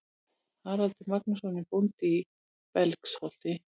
Haraldur Magnússon er bóndi í Belgsholti.